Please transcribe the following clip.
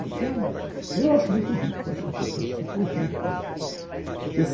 Então, eu acho muito rico, acho um processo super rico.